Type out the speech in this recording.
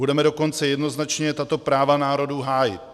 Budeme dokonce jednoznačně tato práva národů hájit.